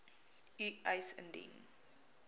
u eis indien